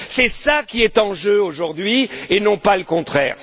C'est cela qui est en jeu aujourd'hui et non pas le contraire.